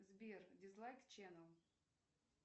сбер дизлайк ченел